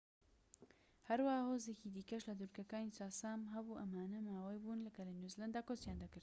هەروەها هۆزێکی دیکەش لە دورگەکانی چاسام هەبوو ئەمانە ماۆری بوون کە لە نیوزلەندا کۆچیان کرد